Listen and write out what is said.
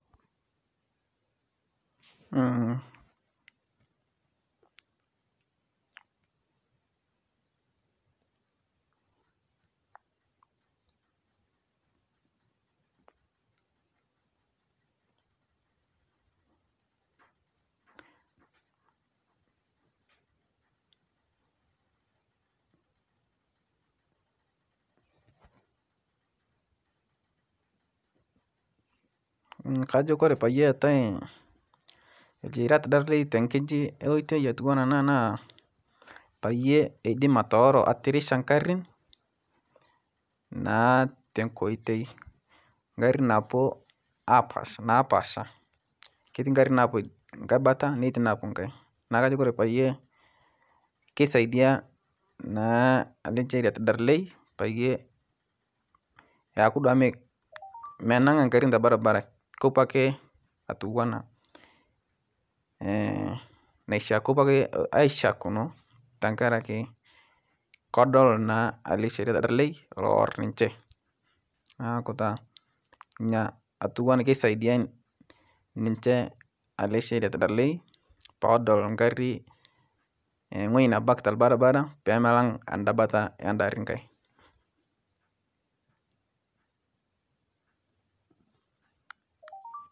Kajo Kore peyetae lcheriat darlei tenkiji enkotei atua ana naa payie atooro atirisha nkarin naa tenkotei nkarin napuo napaasha keti nkarin napuo nkae bata netii napuo nkae nako Kore payie keisadia naa ale lcheriat darlei payie aku duake menang' a nkarin telbarbara kepuo ake atuwana ashakuno tankaraki kodol na ale lcheriata darlei lowor ninche nakutaa nia atuana keisadia niche ale lcheriat darlei podol nkarin ng'oji nebaki telbarbara pemelang anda bata anda ari nkae.